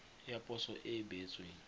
ya poso e e beetsweng